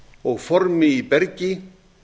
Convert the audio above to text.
og formi í bergi